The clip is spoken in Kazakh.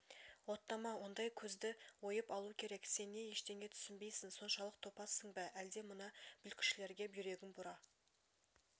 оттама ондай көзді ойып алу керек сен не ештеңе түснбейтін соншалық топассың ба әлде мына бүлкішілерге бүйрегің бұра